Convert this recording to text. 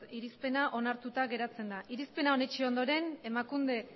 irizpena onartuta geratzen da irizpena onetsi ondoren emakunde